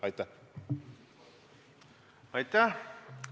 Aitäh!